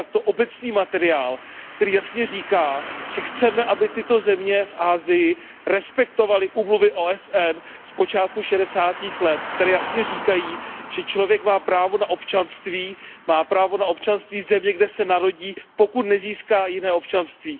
obecný materiál, který jasně říká, že chceme, aby tyto země v Asii respektovaly úmluvy OSN z počátku šedesátých let, které jasně říkají, že člověk má právo na občanství, má právo na občanství země, kde se narodí, pokud nezíská jiné občanství.